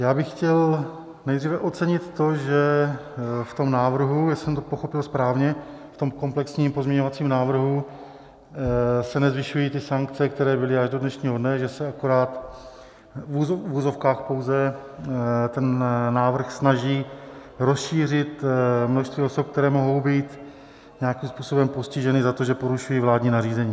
Já bych chtěl nejdříve ocenit to, že v tom návrhu, jestli jsem to pochopil správně, v tom komplexním pozměňovacím návrhu se nezvyšují ty sankce, které byly až do dnešního dne, že se akorát v uvozovkách pouze ten návrh snaží rozšířit množství osob, které mohou být nějakým způsobem postiženy za to, že porušují vládní nařízení.